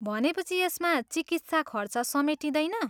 भनेपछि यसमा चिकित्सा खर्च समेटिँदैन?